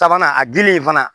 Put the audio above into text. Sabanan a gili fana